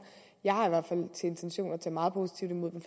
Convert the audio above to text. min intention er tage meget positivt imod dem